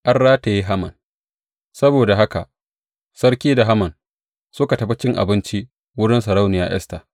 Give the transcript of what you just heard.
An rataye Haman Saboda haka sarki da Haman suka tafi cin abinci wurin sarauniya Esta.